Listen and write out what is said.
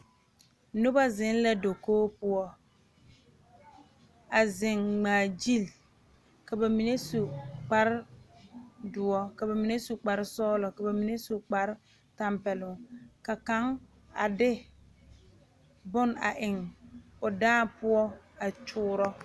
Noba zeŋ la dakogi poɔ a zeŋ ŋmaagyili ka ba mine su kparedoɔ ka ba mine su kparesɔglɔ ba mine su kparetɛmpɛloŋ ka kaŋ a de bone a eŋ.